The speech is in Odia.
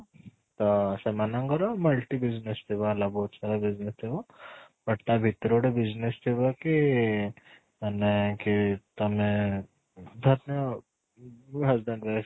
"ତ ସେମାନ ଙ୍କର multi business ଥିବା ହେଲା ବହୁତ ସାରା business ଥିବ but ତା ଭିତ ରେ ଗୋଟେ business ଥିବ କି ମାନେ କି ତମେ